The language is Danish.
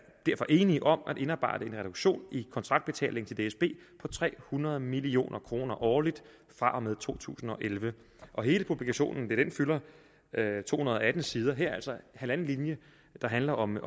derfor enige om at indarbejde en reduktion i kontraktbetaling til dsb på tre hundrede million kroner årligt fra og med to tusind og elleve hele publikationen fylder to hundrede og atten sider og her er der altså halvanden linje der handler om at